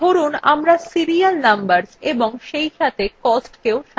ধরুন আমরা serial numbers এবং সেইসাথে costকেও সাজাতে চাই